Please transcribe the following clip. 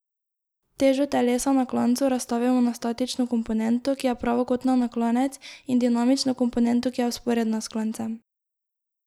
Težo telesa na klancu razstavimo na statično komponento, ki je pravokotna na klanec, in dinamično komponento, ki je vzporedna s klancem.